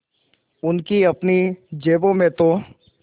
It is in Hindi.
उनकी अपनी जेबों में तो